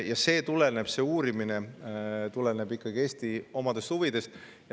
Ja see uurimine tuleneb ikkagi Eesti oma huvidest.